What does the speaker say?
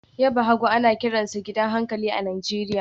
Yaba hagu ana kiransa gidan hankali a Najeriya